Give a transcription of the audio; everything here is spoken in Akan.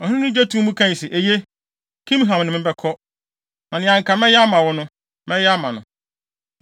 Ɔhene no gye too mu kae se, “Eye, Kimham ne me bɛkɔ, na nea anka mɛyɛ ama wo no, mɛyɛ ama no.”